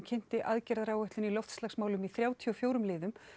kynnti aðgerðaráætlun í loftslagsmálum í þrjátíu og fjórum liðum